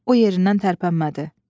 O yerindən tərpənmədi.